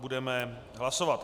Budeme hlasovat.